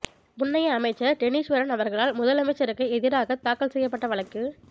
முன்னைய அமைச்சர் டெனீஸ்வரன் அவர்களால் முதலமைச்சருக்கு எதிராக தாக்கல் செய்யப்பட்ட வழக்கு